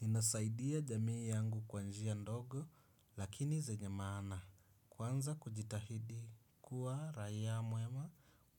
Ninasaidia jamii yangu kwa njia ndogo lakini zenye maana kwanza kujitahidi kuwa raia mwema